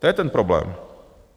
To je ten problém.